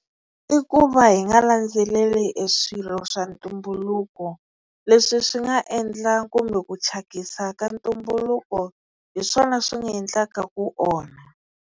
I ku va hi nga landzeleli e swilo swa ntumbuluko leswi swi nga endla kumbe ku thyakisa ka ntumbuluko hi swona swi nga endlaka ku onha.